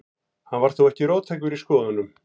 Hann var þó ekki róttækur í skoðunum.